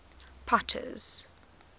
potter's